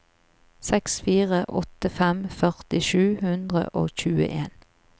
seks fire åtte fem førti sju hundre og tjueen